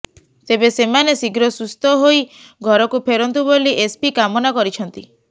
ତେବେ ସେମାନେ ଶୀଘ୍ର ସୁସ୍ଥ ହୋଇ ଘରକୁ ଫେରନ୍ତୁ ବୋଲି ଏସପି କାମନା କରିଛନ୍ତି